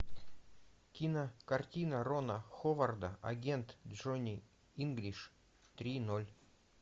кинокартина рона ховарда агент джони инглиш три ноль